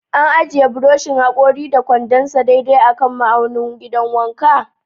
An ajiye buroshin hakori da kwandon sa daidai kan ma'aunin gidan wanka?